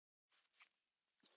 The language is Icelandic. Þeir eiga þau.